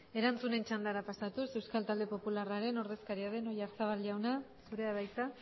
erantzunen txandara pasatuz euskal talde popularraren ordezkari den oyarzabal jauna zurea da hitza